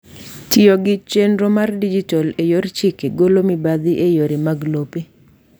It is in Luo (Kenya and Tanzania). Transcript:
Tiyo gi chenro mar dijital e yor chike golo mibathi e yore mag lope.